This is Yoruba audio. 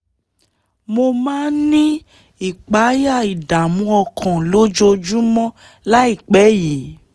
)- mo máa ń ní ìpayà/ìdààmú ọkàn lójoojúmọ́ láìpẹ́ yìí